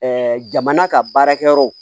jamana ka baarakɛyɔrɔ